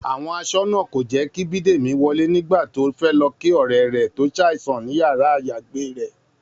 Àwọn aṣọ́nà kò jẹ́ kí Bídèmí wọlé nígbà tó fẹ́ lọ kí ọ̀rẹ́ rẹ̀ tó ṣàìsàn ní yàrá-àyágbé rẹ̀